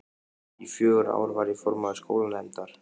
Í fjögur ár var ég formaður skólanefndar.